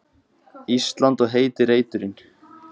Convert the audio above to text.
Ísland og heiti reiturinn.